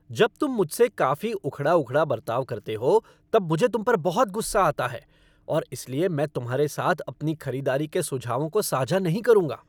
जब तुम मुझसे काफ़ी उखड़ा उखड़ा बर्ताव करते हो तब मुझे तुम पर बहुत गुस्सा आता है और इसीलिए मैं तुम्हारे साथ अपनी खरीदारी के सुझावों को साझा नहीं करूँगा।